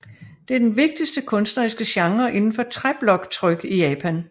Det er den vigtigste kunstneriske genre inden for træbloktryk i Japan